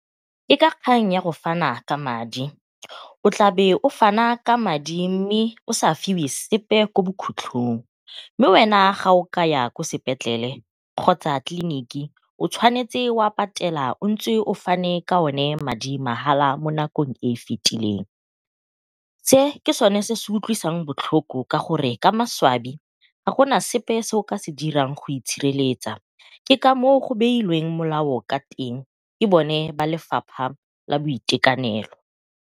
Ke ka kgang ya go fana ka madi o tlabe o fana ka madi, mme o sa fiwe sepe ko bokhutlhong mme wena fa o ka ya kwa sepetlele kgotsa tleliniki o tshwanetse wa patela o ntse o fane ka one madi mahala mo makong e fitileng. Se ke sone se se utlwisang botlhoko ka gore ka maswabi ga gona sepe se o ka se dirang go itshireletsa, ke ka moo go beilweng molao ka teng ke bone ba lefapha la boitekanelo.